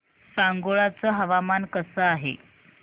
सांगोळा चं हवामान कसं आहे